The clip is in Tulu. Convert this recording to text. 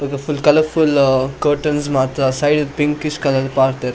ಬೊಕ ಫುಲ್ಲ್ ಕಲರ್ಫುಲ್ಲ್ ಆ ಕರ್ಟನ್ಸ್ ಮಾತ ಸೈಡ್ ಪಿಂಕಿಶ್ ಕಲರ್ ಪಾಡ್ಡೆರ್.